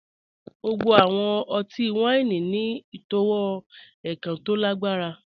Gbogbo awọn ọtí-wàíní ni itọwo èkàn tó lágbarà.